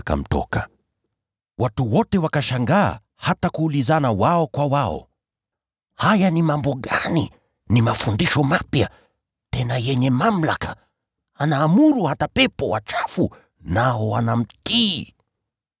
Watu wote wakashangaa, hata wakaulizana wao kwa wao, “Haya ni mambo gani? Ni mafundisho mapya, tena yenye mamlaka! Anaamuru hata pepo wachafu, nao wanamtii!”